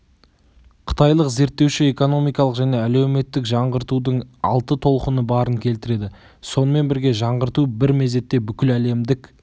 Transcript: қытайлық зерттеуші экономикалық және әлеуметтік жаңғыртудың алты толқыны барын келтіреді сонымен бірге жаңғырту бір мезетте бүкіләлемдік